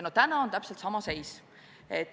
Ja täna on täpselt sama seis.